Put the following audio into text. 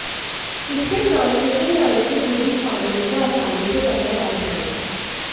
इससे transmission line से जुडी खामियों को आसानी से पकड़ा जा सकेगा